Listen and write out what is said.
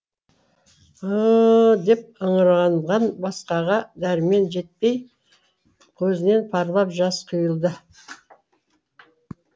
ы ы ы деп ыңырағаннан басқаға дәрмені жетпей көзінен парлап жас құйылды